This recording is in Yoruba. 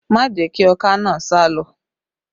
Má jẹ̀ kí ọká naa sálọ!